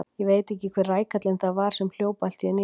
Ég veit ekki hver rækallinn það var sem hljóp allt í einu í mig.